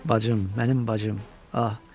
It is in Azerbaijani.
Bacım, mənim bacım, ah.